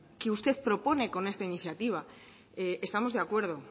que usted propone con esta iniciativa estamos de acuerdo